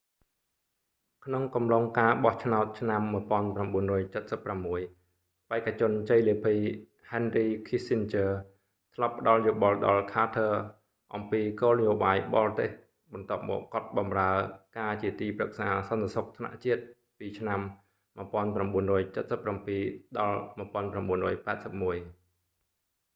ក្នុងកំឡុងការបោះឆ្នោតឆ្នាំ 1976 បេក្ខជនជ័យលាភី henry kissinger ធ្លាប់ផ្តល់យោបល់ដល់ carter អំពីគោល នយោបាយបរទេស បន្ទាប់មកគាត់បម្រើរការជាទីប្រឹក្សា សន្តិសុខថ្នាក់ជាតិ nsa ពីឆ្នាំ 1977 ដល់ 1981